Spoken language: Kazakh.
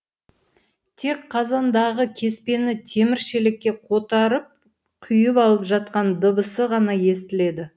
тек қазандағы кеспені темір шелекке қотарып құйып алып жатқан дыбысы ғана естіледі